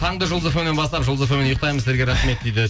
таңды жұлдыз фм нен бастап жұлдыз фм мен ұйықтаймын сіздерге рахмет дейді